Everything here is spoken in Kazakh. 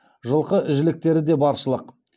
жылқы жіліктері де баршылық